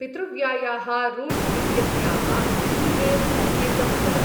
पितृव्यायाः Ruth इत्यस्याः ई मेल्.संकेतं वद ।